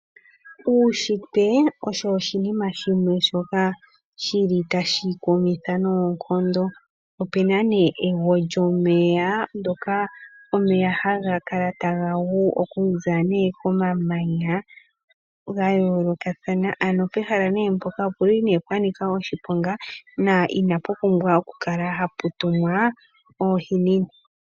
Uushitwe osho oshinima shimwe shoka shili tashi kumitha noonkondo. Opena nee ego lyomeya ndyoka omeya haga kala taga gu okuza momamanya gayoolokathana ano pehala nee mpoka opuli pwanika oshiponga na inapu pumbwa okukala hapu tumwa oohinina.